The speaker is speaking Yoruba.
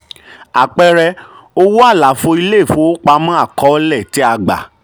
àpẹẹrẹ owó àlàfo ilé ìfowópamọ́ àkọọ́lẹ̀ tí a gbà.